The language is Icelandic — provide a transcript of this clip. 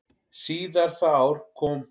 Síðar það ár kom